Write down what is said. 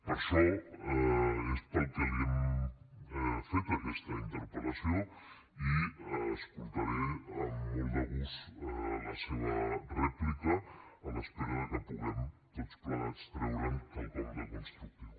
per això és pel que li hem fet aquesta interpel·lació i escoltaré amb molt de gust la seva rèplica a l’espera que puguem tots plegats treure’n quelcom de constructiu